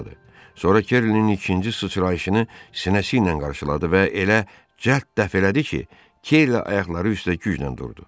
Sonra Kerlinin ikinci sıçrayışını sinəsi ilə qarşıladı və elə cəld dəf elədi ki, Kerli ayaqları üstə güclə durdu.